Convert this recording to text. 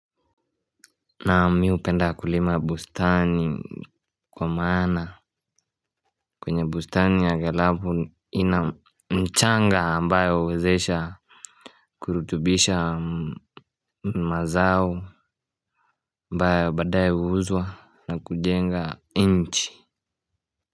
Naa mi hupenda kulima bustani kwa maana kwenye bustani ya galapu ina mchanga ambayo huwezesha kurutubisha mazao ambayo badae huuzwa na kujenga nchi.